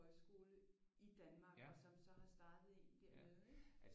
Højskole i Danmark og som så har startet en dernede ikke